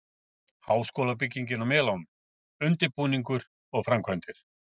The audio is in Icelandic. Háskólabyggingin á Melunum- undirbúningur og framkvæmdir